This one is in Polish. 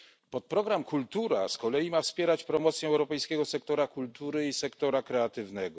Podprogram KULTURA z kolei ma wspierać promocję europejskiego sektora kultury i sektora kreatywnego.